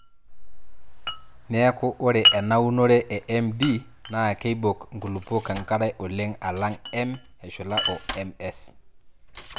Neeku ore ena unore e MD naa keibok nkulupuok enkare oleng alang M eshula o MS.